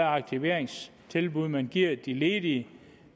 aktiveringstilbud man giver de ledige